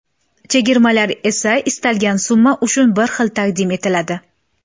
Chegirmalar esa istalgan summa uchun bir xil taqdim etiladi.